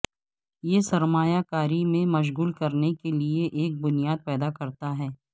یہ سرمایہ کاری میں مشغول کرنے کے لئے ایک بنیاد پیدا کرتا ہے